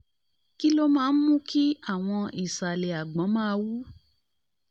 kí ló máa ń mú kí àwọn ìsàlẹ̀ àgbọ̀n máa wú?